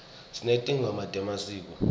sinetingoma temasiko